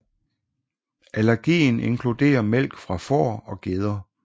Allergien inkluderer mælk fra får og geder